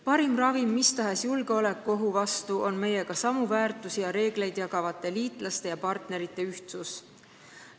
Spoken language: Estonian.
Parim ravim mis tahes julgeolekuohu vastu on meiega samu väärtusi ja reegleid jagavate liitlaste ja partnerite ühtsus.